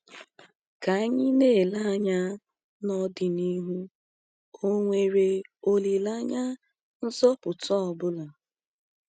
Ka anyị na-ele anya n’ọdịnihu, ọ̀ nwere olileanya nzọpụta ọ bụla?